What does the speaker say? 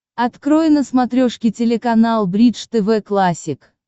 открой на смотрешке телеканал бридж тв классик